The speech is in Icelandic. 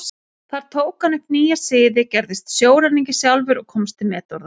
Þar tók hann upp nýja siði, gerist sjóræningi sjálfur og komst til metorða.